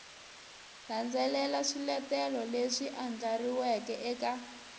landzelela swiletelo leswi andlariweke eka